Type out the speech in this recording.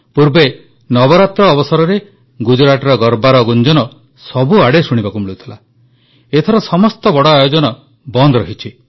ପୂର୍ବେ ନବରାତ୍ର ଅବସରରେ ଗୁଜରାଟର ଗର୍ବା ର ଗୁଞ୍ଜନ ସବୁଆଡ଼େ ଶୁଣିବାକୁ ମିଳୁଥିଲା ଏଥର ସମସ୍ତ ବଡ଼ ଆୟୋଜନ ବନ୍ଦ ରହିଛି